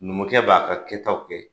Numukɛ b'a ka kɛtaw kɛ